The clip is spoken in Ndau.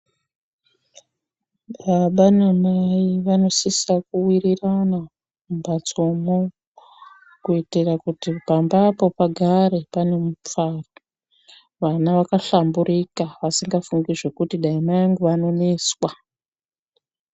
Baba namai vanosisa kuwirirana mumbatsomwo, kuitira kuti pambapo pagare pane mufaro vana vakashamburika vasingafungi zvekuti dai mai angu anoneswa.